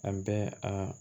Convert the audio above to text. An bɛ a